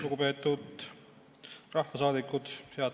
Lugupeetud rahvasaadikud!